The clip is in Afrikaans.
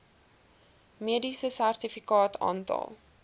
mediese sertifikaat aantal